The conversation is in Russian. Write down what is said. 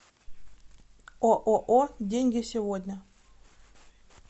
ооо деньги сегодня